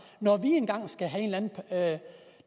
når vi engang skal have en